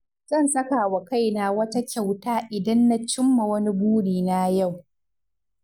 Zan saka wa kaina wata kyauta idan na cimma wani burina yau.